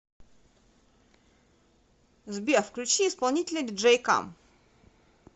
сбер включи исполнителя диджей кам